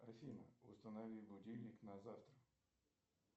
афина установи будильник на завтра